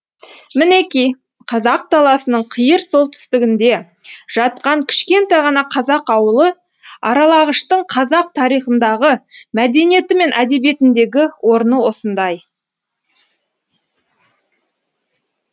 мінеки қазақ даласының қиыр солтүстігінде жатқан кішкентай ғана қазақ ауылы аралағаштың қазақ тарихындағы мәдениеті мен әдебиетіндегі орны осындай